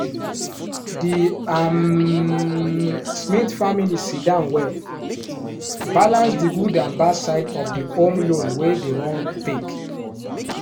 the um smith family sit down well balance the good and bad side of the home loan wey dem wan take.